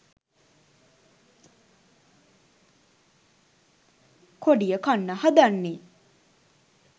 කොඩිය කන්න හදන්නෙ?